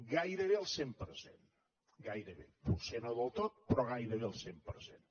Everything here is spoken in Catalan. gairebé al cent per cent gairebé potser no del tot però gairebé al cent per cent